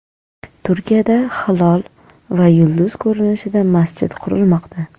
Turkiyada hilol va yulduz ko‘rinishida masjid qurilmoqda .